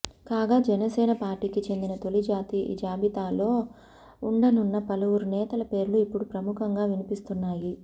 కాగా జనసేన పార్టీకి చెందిన తొలి జాబితాలో ఉండనున్న పలువురు నేతల పేర్లు ఇప్పుడు ప్రముఖంగా వినిపిస్తున్నాయి